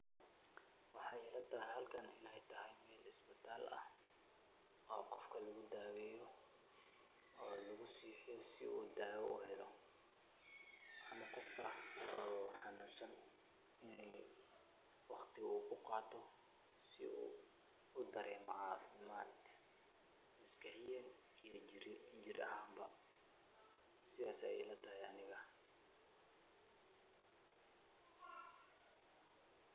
Waxa ilatahay halkan inay tahay meel isbitaal aah oo qoofkan lagu daweeyneyoh, oo lagu siiyeh si oo dawa u heeloh qoofba xanunsan waqdi oo ku qaatoh, oo u dareemoh cafimad masqax iyo jeer ahaan amaba sethasi Aya ilatahay Anika.